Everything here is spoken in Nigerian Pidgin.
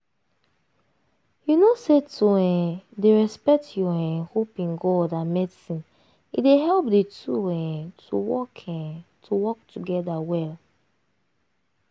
you know say to um dey respect your um hope in god and medicine e dey help di two um to work um to work together well